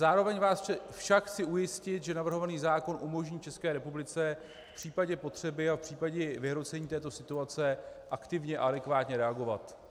Zároveň vás však chci ujistit, že navrhovaný zákon umožní České republice v případě potřeby a v případě vyhrocení této situace aktivně a adekvátně reagovat.